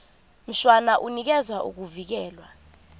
mshwana unikeza ukuvikelwa